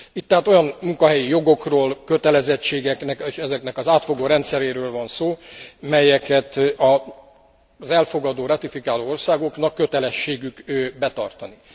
Itt tehát olyan munkahelyi jogokról, kötelezettségeknek és ezeknek az átfogó rendszeréről van szó, melyeket az elfogadó, ratifikáló országoknak kötelességük betartani.